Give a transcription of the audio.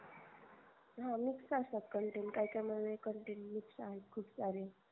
हा mix असतात content काही काही म्हणून content mix खूप सारे